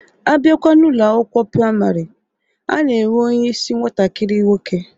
Abịakwa n'Ụlọ akwụkwọ praịmarị, a na-enwe onyeisi nwatakiri nwoke